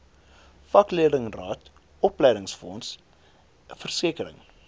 vakleerlingraad opleidingsfonds versekering